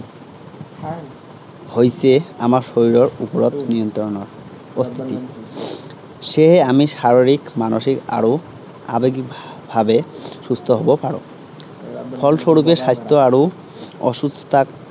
হৈছে আমাৰ শৰীৰৰ ওপৰত নিয়ন্ত্ৰণৰ প্ৰস্তুতি। সেয়েহে আমি শাৰিৰীক মানসিক আৰু আৱেগিক ভাভাৱে সুস্থ হব পাৰো। ফল স্বৰূপে স্বাস্থ্য় আৰু অসুস্থতাক